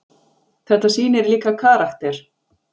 Þetta sýnir líka karakter.